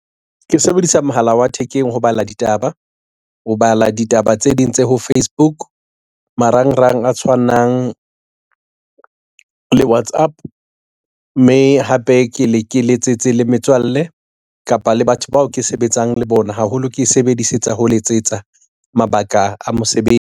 Ke sebedisa mohala wa thekeng ho bala ditaba tse ding tse ho Facebook marangrang a tshwanang le WhatsApp mme hape ke le ke letsetse le metswalle kapa le batho bao ke sebetsang le bona haholo. Ke e sebedisetsa ho letsetsa mabaka a mosebetsi.